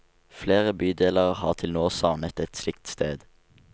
Flere bydeler har til nå savnet et slikt sted.